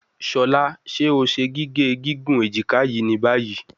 Shola, ṣe o ṣe gige gigun ejika yii ni bayi?